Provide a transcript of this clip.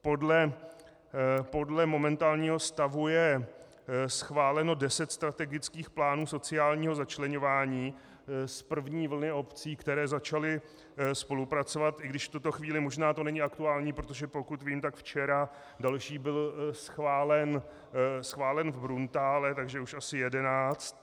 Podle momentálního stavu je schváleno deset strategických plánů sociálního začleňování z první vlny obcí, které začaly spolupracovat, i když v tuto chvíli možná to není aktuální, protože pokud vím, tak včera další byl schválen v Bruntále, takže už asi jedenáct.